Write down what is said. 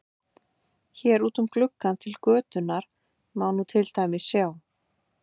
Hér út um gluggann til götunnar má nú til dæmis sjá